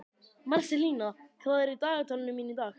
Marselína, hvað er á dagatalinu mínu í dag?